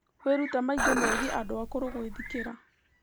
Wĩrute maingĩ megiĩ andũ akũrũ na gwĩthikĩra